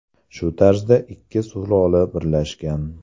Shu tarzda ikki sulola birlashgan.